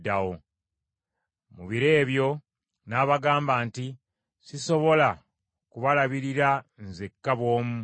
“Mu biro ebyo nabagamba nti, ‘Sisobola kubalabirira nzekka bw’omu.